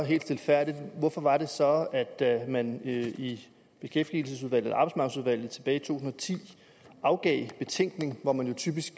helt stilfærdigt hvorfor var det så at man i i beskæftigelsesudvalget tilbage i to og ti afgav betænkning hvor man jo typisk